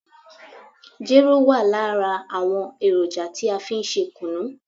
Jero wa lára àwọn èròjà tí a fí n ṣe kùnú.